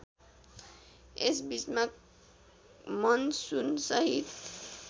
यस बीचमा मनसूनसहित